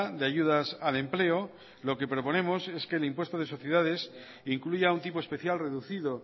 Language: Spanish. de ayudas al empleo lo que proponemos es que el impuesto de sociedades incluya un tipo especial reducido